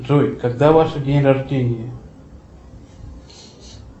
джой когда ваше день рождения